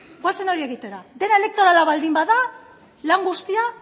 goazen hori egitera dena elektorala baldin bada lan guztia